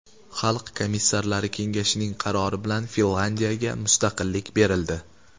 Xalq komissarlari kengashining qarori bilan Finlyandiyaga mustaqillik berildi.